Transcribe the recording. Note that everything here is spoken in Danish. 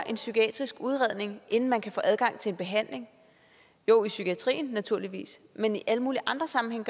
psykiatrisk udredning inden man kan få adgang til en behandling jo i psykiatrien naturligvis men i alle mulige andre sammenhænge